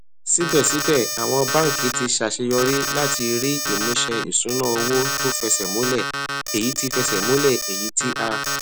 síbèsíbẹ àwọn báńkì ti ṣàṣeyọrí láti rí ìmúṣẹ ìṣúnná owó tó fẹsẹ múlẹ èyí tí múlẹ èyí tí a